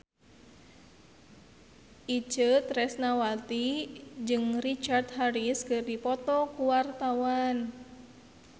Itje Tresnawati jeung Richard Harris keur dipoto ku wartawan